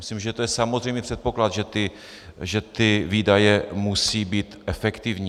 Myslím, že to je samozřejmý předpoklad, že ty výdaje musí být efektivní.